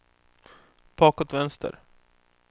bakåt vänster